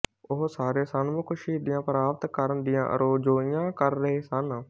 ਉਹ ਸਾਰੇ ਸਨਮੁਖ ਸ਼ਹੀਦੀਆਂ ਪ੍ਰਾਪਤ ਕਰਨ ਦੀਆਂ ਅਰਜ਼ੋਈਆਂ ਕਰ ਰਹੇ ਸਨ